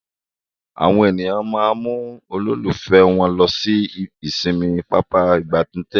Àwọn ènìyàn mú ololufe wón ló sì ìsinmi Pápá ìgbatẹ́gùn.